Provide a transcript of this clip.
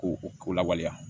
Ko o ko lawaleya